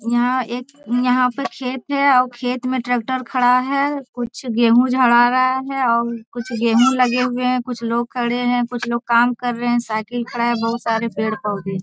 यहाँ एक यहाँ पर खेत है आउ खेत में ट्रैक्टर खड़ा है कुछ गेहूं झड़ा रहा है और कुछ गेहूं लगे हुए हैं कुछ लोग खड़े है कुछ लोग काम कर रहे हैं साइकिल खड़ा है बहुत सारे पेड़-पौधे --